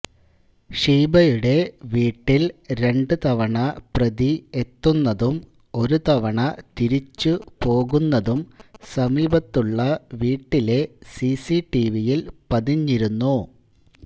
ഷീബയുടെ വീട്ടില് രണ്ടു തവണ പ്രതി എത്തുന്നതും ഒരു തവണ തിരിച്ചുപോകുന്നതും സമീപത്തുള്ള വീട്ടിലെ സിസിടിവിയില് പതിഞ്ഞിരുന്നു